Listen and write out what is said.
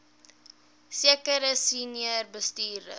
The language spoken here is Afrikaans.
sekere senior bestuurders